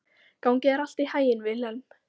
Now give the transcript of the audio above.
Gangi þér allt í haginn, Vilhelm.